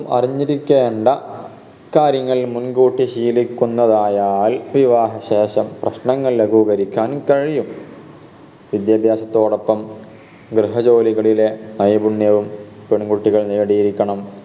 അറിഞ്ഞിരിക്കേണ്ട കാര്യങ്ങൾ മുൻകൂട്ടി ശീലിക്കുന്നതായാൽ വിവാഹ ശേഷം പ്രശ്നങ്ങൾ ലഘൂകരിക്കാൻ കഴിയും വിദ്യഭ്യാസത്തോടപ്പം ഗൃഹജോലികളിലെ നൈപുണ്യവും പെൺകുട്ടികൾ നേടിയിരിക്കണം